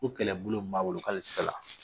Ko kɛlɛbolo mun b'a bolo k'ale ti s'a la.